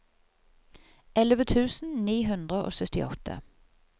elleve tusen ni hundre og syttiåtte